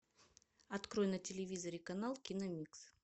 открой на телевизоре канал киномикс